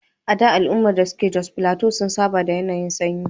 A da, al’ummomin da ke Jos Plateau sun saba da yanayin sanyi.